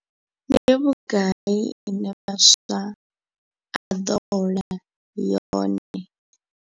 Ndi vhugai ine muswa a ḓo hola yone.